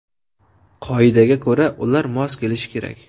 Qoidaga ko‘ra, ular mos kelishi kerak.